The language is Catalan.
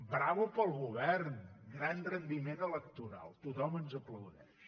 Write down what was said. bravo per al govern gran rendiment electoral tothom ens aplaudeix